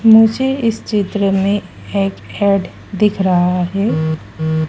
मुझे इस चित्र में एड दिख रहा है।